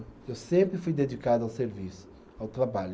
Eu sempre fui dedicado ao serviço, ao trabalho.